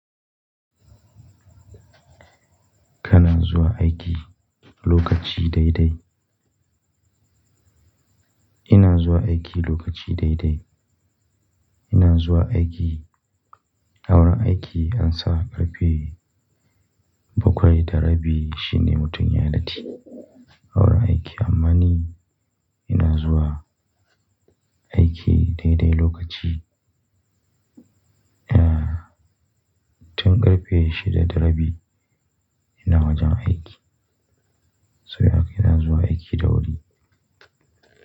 Kana zuwa aiki lokaci dai dai? Ina zuwa aiki lokaci dai dai. Ina zuwa aiki, awurin aiki ansan ƙarfe bakwai da rabi shine mutum yayi lati. Awurin aiki amma ni ina zuwa aiki dai dai lokaci. Eeh, tun ƙarfe shida da rabi ina wajen aiki. Saboda haka ina zuwa aiki da wuri.